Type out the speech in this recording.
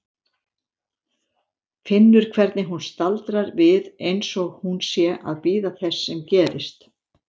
Finnur hvernig hún staldrar við einsog hún sé að bíða þess sem gerist.